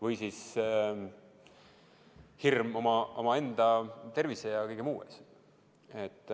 Või siis hirm oma tervise ja kõige muu pärast.